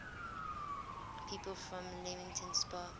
people from leamington spa